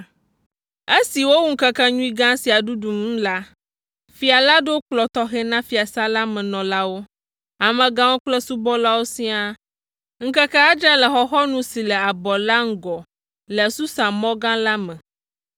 Esi wowu ŋkekenyui gã sia ɖuɖu nu la, Fia la ɖo kplɔ̃ tɔxɛ na fiasã la me nɔlawo, amegãwo kple subɔlawo siaa, ŋkeke adre le xɔxɔnu si le abɔ la ŋgɔ le Susa mɔ gã la me.